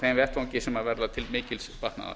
þeim vettvangi sem verða til mikils batnaðar